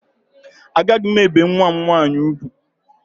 Agaghị m ebe nwa m nwaanyị ugwu